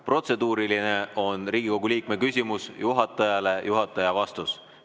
Protseduuriline küsimus on Riigikogu liikme küsimus juhatajale, juhataja vastus.